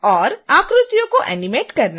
आकृतियों को एनीमेट करना